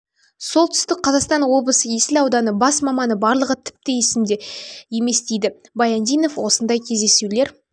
солтүстік қазақстан облысы есіл ауданы бас маманы барлығы тіпті есімде де емес дейді баяндинов осындай кездесулер